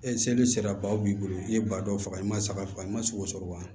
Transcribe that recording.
E seli sera ba b'i bolo i ye ba dɔw faga i ma saga faga i ma sogo sɔrɔ wa